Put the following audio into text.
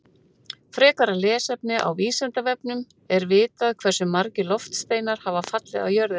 Frekara lesefni á Vísindavefnum Er vitað hversu margir loftsteinar hafa fallið á jörðina?